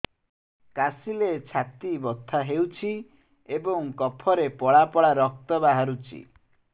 କାଶିଲେ ଛାତି ବଥା ହେଉଛି ଏବଂ କଫରେ ପଳା ପଳା ରକ୍ତ ବାହାରୁଚି